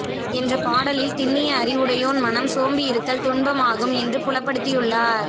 என்ற பாடலில் திண்ணிய அறிவுடையோன் மனம் சோம்பியிருத்தல் துன்பம் ஆகும் என்று புலப்படுத்தியுள்ளார்